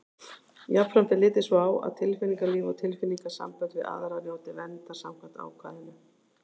Jafnframt er litið svo á að tilfinningalíf og tilfinningasambönd við aðra njóti verndar samkvæmt ákvæðinu.